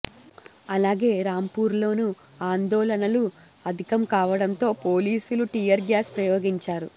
అలాగే రాంపూర్లోనూ ఆందోళనలు అధికం కావడంతో పోలీసులు టియర్ గ్యాస్ ప్రయోగించారు